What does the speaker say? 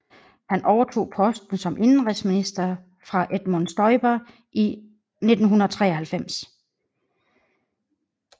Han overtog posten som indenrigsminister fra Edmund Stoiber i 1993